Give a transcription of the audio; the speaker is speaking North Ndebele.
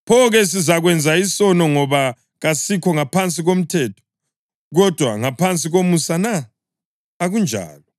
Pho-ke, sizakwenza isono ngoba kasikho ngaphansi komthetho, kodwa ngaphansi komusa na? Akunjalo!